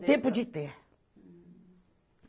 O tempo de ter. Hm